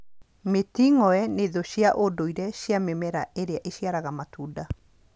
Mĩting'oe nĩ thũ cia ndũire cia mĩmera ĩrĩa ĩciaraga matunda.